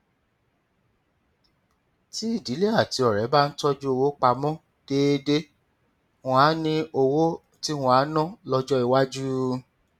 tí ìdílé àti ọrẹ bá ń tọjú owó pa mọ déédéé wọn á ní owó tí wọn á ná lọjọ iwájú